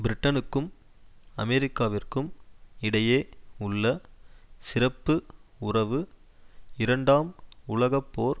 பிரிட்டனுக்கும் அமெரிக்காவிற்கும் இடையே உள்ள சிறப்பு உறவு இரண்டாம் உலக போர்